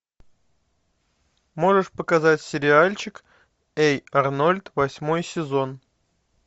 можешь показать сериальчик эй арнольд восьмой сезон